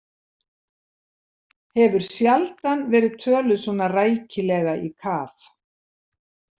Hefur sjaldan verið töluð svona rækilega í kaf.